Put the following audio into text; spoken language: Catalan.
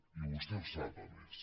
i vostè ho sap a més